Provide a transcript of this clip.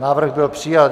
Návrh byl přijat.